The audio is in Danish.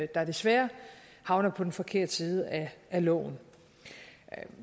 der desværre havner på den forkerte side af loven